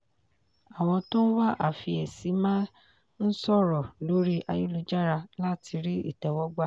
àwọn tó ń wá àfiyèsí máa ń sọ̀rọ̀ lórí ayélujára láti rí ìtẹ́wọ́gbà.